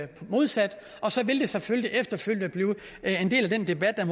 det modsatte og så vil det selvfølgelig efterfølgende blive en del af den debat der